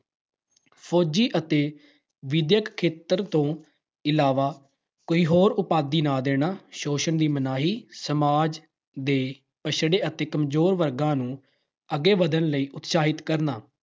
ਫ਼ੌਜੀ ਅਤੇ ਵਿਦਿਅਕ ਖੇਤਰ ਤੋਂ ਇਲਾਵਾ ਕੋਈ ਹੋਰ ਉਪਾਧੀ ਨਾ ਦੇਣਾ, ਸ਼ੋਸ਼ਣ ਦੀ ਮਨਾਹੀ, ਸਮਾਜ ਦੇ ਪੱਛੜੇ ਅਤੇ ਕਮਜੋਰ ਵਰਗਾਂ ਨੂੰ ਅੱਗੇ ਵੱਧਣ ਲਈ ਉਤਸ਼ਾਹਿਤ ਕਰਨਾ।